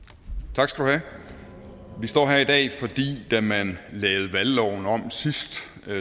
tak skal du have vi står her i dag fordi da man lavede valgloven om sidst